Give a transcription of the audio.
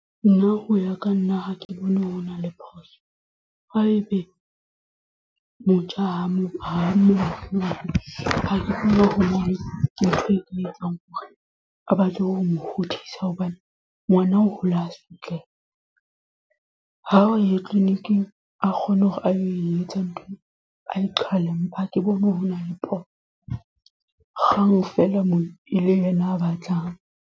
Nna ho ya ka nna ha ke bone ho na le phoso haebe motjha ke tlo e etsang hore a batle ho mo hodisa hobane ngwana o hola a sotleha, ha o ye clinic-ing a kgone hore a etsang ntho ha ke bone ho na le phoso kgang feela moo e le yena a batlang.